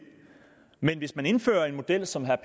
men hvis man indfører en model som herre